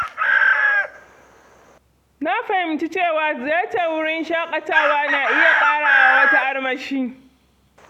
Na fahimci cewa ziyartar wurin shakatawa na iya ƙara wa wata armashi.